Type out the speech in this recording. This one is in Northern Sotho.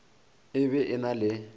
e be e na le